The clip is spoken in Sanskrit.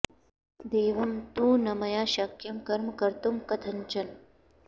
देवं तु न मया शक्यं कर्म कर्तुं कथंचन